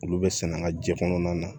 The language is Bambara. Olu bɛ sɛnɛ an ka ji kɔnɔna na